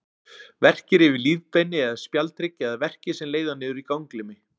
Verkir yfir lífbeini eða spjaldhrygg, eða verkir sem leiða niður í ganglimi.